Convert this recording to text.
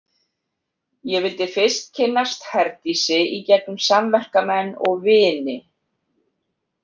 Ég vildi fyrst kynnast Herdísi í gegnum samverkamenn og vini.